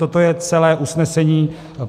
Toto je celé usnesení.